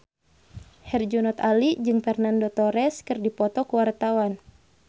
Herjunot Ali jeung Fernando Torres keur dipoto ku wartawan